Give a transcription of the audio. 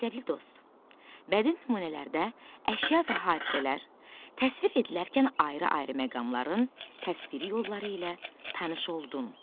Məktəbli dost, bədii nümunələrdə əşya və hadisələr təsvir edilərkən ayrı-ayrı məqamların təsviri yolları ilə tanış oldun.